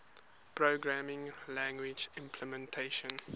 programming language implementation